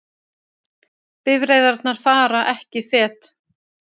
Bifreiðarnar fara ekki fet